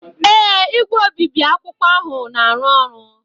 ee, igwe obibi akwụkwọ ahụ na-arụ ọrụ.